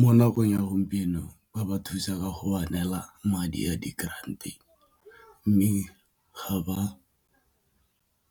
Mo nakong ya gompieno ba ba thusa go ba neela madi a di-grant-e mme ga ba